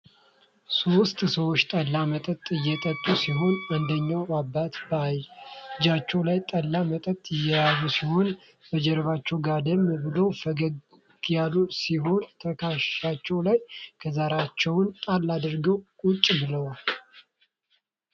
ሶስት ሰዎች ጠላ መጠጥ እየጠጡ ሲሆን አንደኛው አባት በእጃቸው ላይ ጠላ መጠጥ የያዙት ሲሆን በጀርባቸውም ጋደም ብለው ፈገግግ ያሉ ሲሆን ተከሻቸው ላይም ከዘራቸውን ጣል አድርጎ ቁጭ ብሏል።